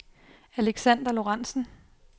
Alexander Lorentzen